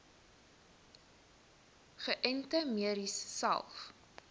geënte merries selfs